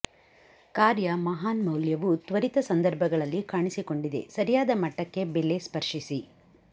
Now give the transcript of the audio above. ಕಾರ್ಯ ಮಹಾನ್ ಮೌಲ್ಯವು ತ್ವರಿತ ಸಂದರ್ಭಗಳಲ್ಲಿ ಕಾಣಿಸಿಕೊಂಡಿದೆ ಸರಿಯಾದ ಮಟ್ಟಕ್ಕೆ ಬೆಲೆ ಸ್ಪರ್ಶಿಸಿ